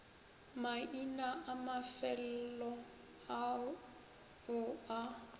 maina a mafelo ao a